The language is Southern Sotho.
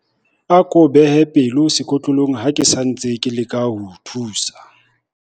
Ako behe pelo sekotlolong ha ke sa ntse ke leka ho o thusa.